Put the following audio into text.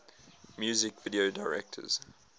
music video directors